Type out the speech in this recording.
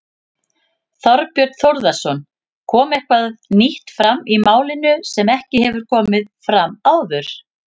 Þorbjörn Þórðarson: Kom eitthvað nýtt fram í málinu sem ekki hefur komið fram áður?